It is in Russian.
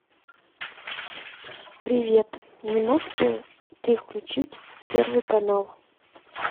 привет не мог бы ты включить первый канал